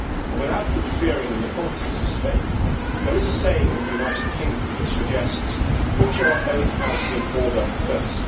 Without interfering in the politics of Spain, there is a saying in the United Kingdom which suggests that you put your own house in order first.